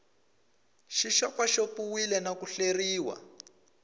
xi xopaxopiwile na ku hleriwa